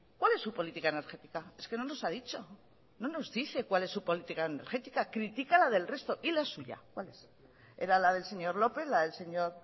cuál es su política energética es que no nos ha dicho no nos dice cuál es su política energética critica la del resto y la suya cuál es era la del señor lópez la del señor